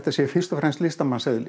sé fyrst og fremst